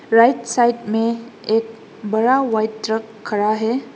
Right side में एक बड़ा व्हाइट ट्रक खड़ा है।